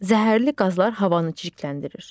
Zəhərli qazlar havanı çirkləndirir.